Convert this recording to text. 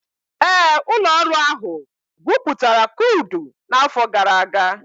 Ee, ụlọ ọrụ ahụ gwupụtara krudụ n'afọ gara aga.